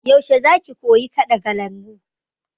Yaushe za ki koyi kaɗa kalangu?